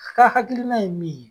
K'a hakilina ye min ye